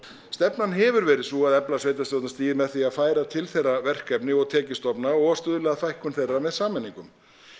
stefnan hefur verið sú að efla sveitarstjórnarstigið með því að færa til þeirra verkefni og tekjustofna og stuðla að fækkun þeirra með sameiningum